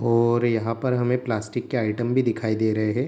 और यहाँ पर हमें प्लास्टिक के आइटम भी दिखाई दे रहे हैं।